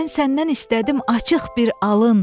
Mən səndən istədim açıq bir alın.